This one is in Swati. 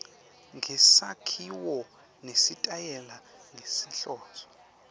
ngesakhiwo nesitayela ngenhloso